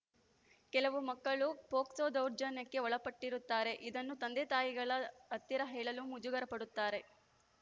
ಕೆಲವು ಮಕ್ಕಳು ಪೊಕ್ಸೋ ದೌರ್ಜನ್ಯಕ್ಕೆ ಒಳಪಟ್ಟಿರುತ್ತಾರೆ ಇದನ್ನು ತಂದೆ ತಾಯಿಗಳ ಹತ್ತಿರ ಹೇಳಲು ಮುಜಗರಪಡುತ್ತಾರೆ